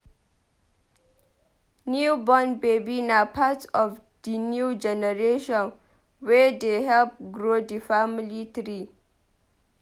New born baby na part of di new generation wey dey help grow di family tree.